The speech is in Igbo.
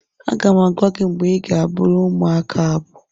Aga m agwa gị mgbe ị ga-abụrụ ụmụaka abụ